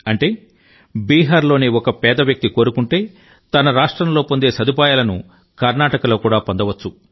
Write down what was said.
అంటే బీహార్లోని ఒక పేద వ్యక్తి కోరుకుంటే తన రాష్ట్రంలో పొందే సదుపాయాలను కర్ణాటకలో కూడా పొందవచ్చు